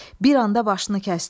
Bir anda başını kəsdi.